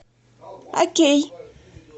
окей